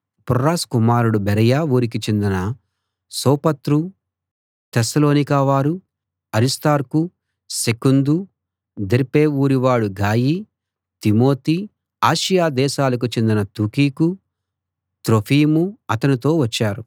ఫుర్రస్ కుమారుడు బెరయ ఊరికి చెందిన సోపత్రు తెస్సలోనిక వారు అరిస్తార్కు సెకుందు దెర్బె ఊరివాడు గాయి తిమోతి ఆసియా దేశాలకు చెందిన తుకికు త్రోఫిము అతనితో వచ్చారు